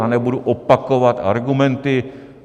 Já nebudu opakovat argumenty.